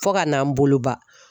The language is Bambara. Fo ka n'an bolo ban.